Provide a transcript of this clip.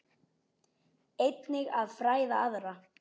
Einnig að fræða aðra.